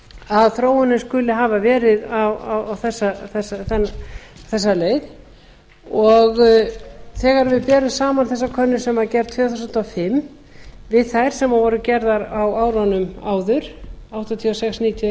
að þróunin skuli hafa verið á þessa leið og þegar við berum saman þessa könnun sem var gerð tvö þúsund og fimm við þær sem voru gerðar á árunum áður nítján hundruð áttatíu og sex nítján hundruð níutíu og eins og nítján